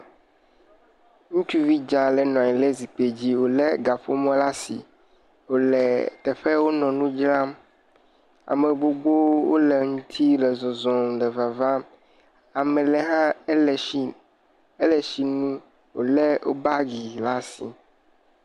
Ŋutsuvi dza aɖe le nɔ anyi le gakpo dzi, wòlé kaƒomɔ le asi, wòle teƒe ye wonɔ nu dzram. Ame gbogbowo le ŋuti le zɔzɔm le vavam, ame ɖe hã ele tsi, ele tsi num, wòlé wò bagi le asi.